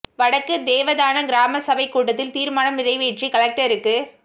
வடக்கு தேவதானம் கிராம சபை கூட்டத்தில் தீர்மானம் நிறைவேற்றி கலெக்டருக்கு